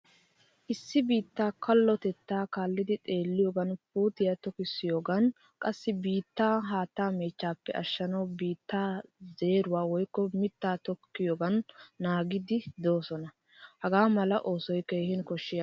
Issi biittaa kallotettaa kaallidi xeeliyogan puutiyaa tokkisiyogan qassi biitta haattaa meechchappe ashshanawu biitta zeeruwaa woykko mitta tokkiyogan naagidi deosona. Hagaamala oosoy keehin koshshiyaba.